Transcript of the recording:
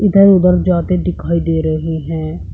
उधर जाते दिखाई दे रहे हैं।